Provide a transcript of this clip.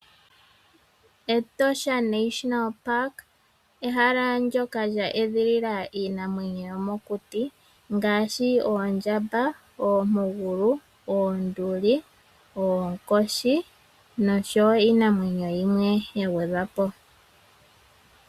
Etosha National Park ehala ndyoka lya edhilila iinamwenyo yomokuti. Ngaashi oondjamba, ompugulu, oonduli, oonkoshi nosho woo iinamwenyo yimwe.